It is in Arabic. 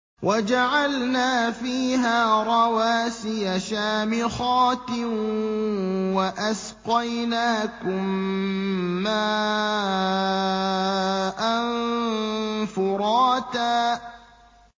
وَجَعَلْنَا فِيهَا رَوَاسِيَ شَامِخَاتٍ وَأَسْقَيْنَاكُم مَّاءً فُرَاتًا